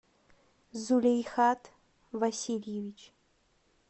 зулейхат васильевич